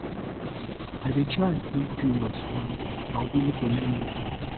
i dey try dey curious um and willing to learn new things